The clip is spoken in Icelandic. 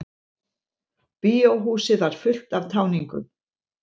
Bíóhúsið var fullt af táningum.